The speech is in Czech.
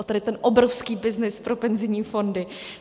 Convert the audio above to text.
O tady ten obrovský byznys pro penzijní fondy.